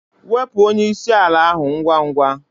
Wepụ onye isi ala ahụ ngwa ngwa!